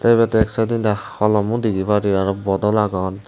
tey ebet ek saedodi holomo degi parir aro bodol agon.